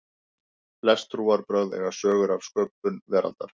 flest trúarbrögð eiga sögur af sköpun veraldarinnar